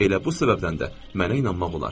Elə bu səbəbdən də mənə inanmaq olar.